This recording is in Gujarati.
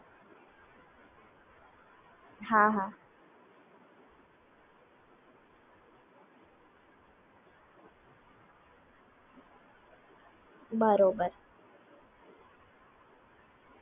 હા